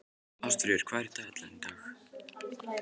Ásfríður, hvað er í dagatalinu í dag?